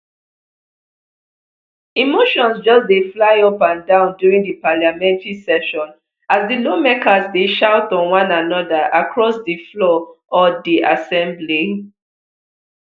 emotions just dey fly up and down during di parliamentary session as di lawmakers dey shout on one anoda across di floor od di assembly